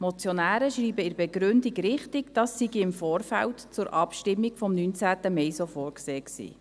Die Motionäre schreiben in der Begründung richtig, dies sei im Vorfeld zur Abstimmung vom 19. Mai so vorgesehen gewesen.